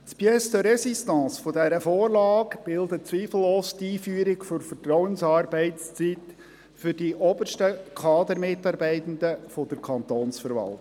Das Pièce de Résistance dieser Vorlage bildet zweifellos die Einführung der Vertrauensarbeitszeit für die obersten Kadermitarbeitenden der Kantonsverwaltung.